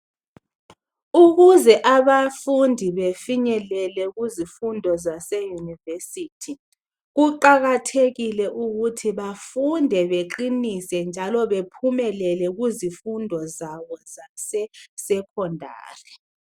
Ukuze abafundi bafinyelele kuzifundo zase university kuqakathekile ukuthi bafunde baqinise njalo bephumelele kuzifundo zabo zase secondary.